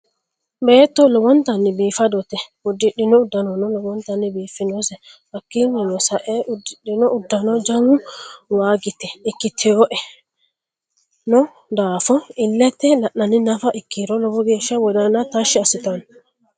beeto lowonotanni biifadote udidhino udanonno lowontanni bifinose hakinno sa'e udidhino udanno jawu wagita ikitinoe daafo ile'te la'niha nafa ikiro lowo geesha wodanno tashi asitanno.